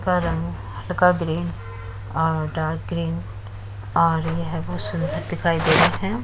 का रंग हलका ग्रीन डार्क ग्रीन और ये बहुत सुन्दर दिखाई दे रहे है।